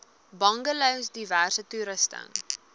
bungalows diverse toerusting